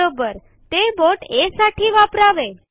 बरोबर ते बोट आ साठी वापरावे